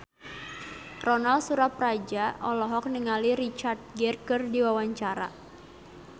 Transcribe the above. Ronal Surapradja olohok ningali Richard Gere keur diwawancara